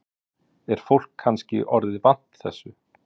Helga: Er fólk kannski orðið vant þessu?